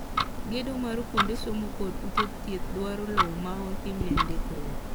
gedo mar kuonde somo kod ute thieth dwaro lowo ma otim ne ndikruok.